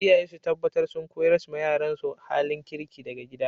Iyaye su taɓatar sun ƙoyars ma yaransu halin kirki daga gida.